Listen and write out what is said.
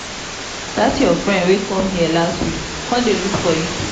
dat your friend wey come here last week come look for you today